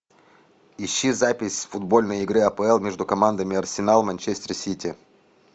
ищи запись футбольной игры апл между командами арсенал манчестер сити